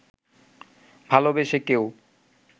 ভালোবেসে কেউ